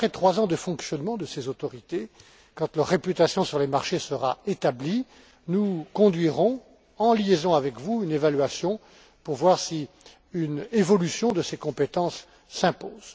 Et puis, après trois ans de fonctionnement de ces autorités, quand leur réputation sur les marchés sera établie, nous conduirons, en liaison avec vous, une évaluation pour voir si une évolution de ces compétences s'impose.